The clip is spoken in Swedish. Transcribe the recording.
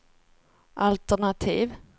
altenativ